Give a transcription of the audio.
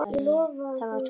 Það var tómt.